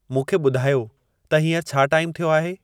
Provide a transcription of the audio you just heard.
मूंखे ॿुधायो त हींअर छा टाइमु थियो आहे